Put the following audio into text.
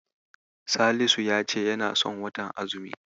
Salisu ya ce yana son watan azumi